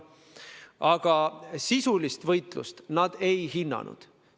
Aga sisulist võitlust nad ei hinnanud.